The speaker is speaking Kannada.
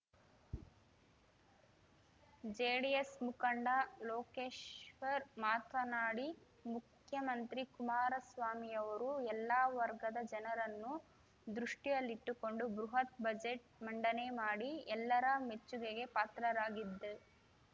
ಜೆಡಿಎಸ್ ಮುಖಂಡ ಲೋಕೇಶ್ವರ್ ಮಾತನಾಡಿ ಮುಖ್ಯಮಂತ್ರಿ ಕುಮಾರಸ್ವಾಮಿಯವರು ಎಲ್ಲಾ ವರ್ಗದ ಜನರನ್ನು ದೃಷ್ಟಿಯಲ್ಲಿಟ್ಟುಕೊಂಡು ಬೃಹತ್ ಬಜೆಟ್ ಮಂಡನೆ ಮಾಡಿ ಎಲ್ಲರ ಮೆಚ್ಚುಗೆಗೆ ಪಾತ್ರರಾಗಿದ್ದು